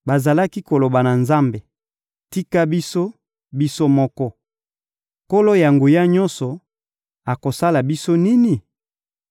Bazalaki koloba na Nzambe: ‹Tika biso, biso moko! Nkolo-Na-Nguya-Nyonso akosala biso nini?›